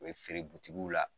U be feere la.